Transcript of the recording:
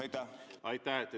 Aitäh!